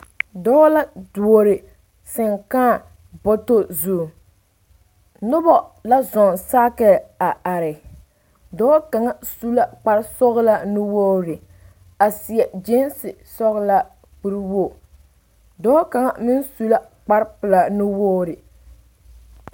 Dɔɔ la duori seŋ kaa bɔtɔ zu noba la zɔɔ sakie a are dɔɔ kaŋa su la kparbsɔgelaa nuwogiri a seɛ gyeense sɔgelaa kuri woo dɔɔ kaŋa meŋ su la kpar pelaa nuwoo